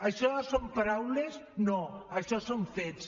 això són paraules no això són fets